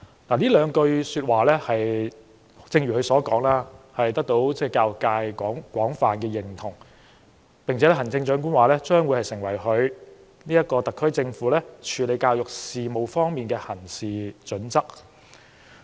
正如她所說，這兩句說話得到教育界廣泛認同，行政長官並指這將會成為特區政府處理教育事務的行事準則。